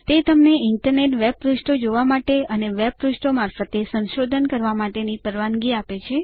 તે તમને internet web પાનાંઓ જોવા માટે અને વેબ પાનાંઓ મારફતે સંશોધન કરવા માટેની પરવાનગી આપે છે